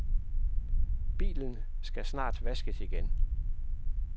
Bilen skal snart vaskes igen.